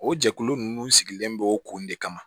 O jɛkulu ninnu sigilen b'o kun de kama